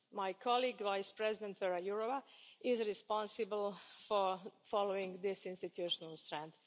My colleague, Vice President Věra Jourová, is responsible for following this institutional strand.